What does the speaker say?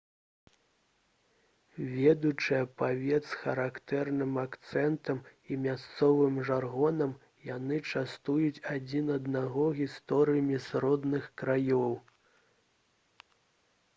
ведучы аповед з характэрным акцэнтам і мясцовым жаргонам яны частуюць адзін аднаго гісторыямі з родных краёў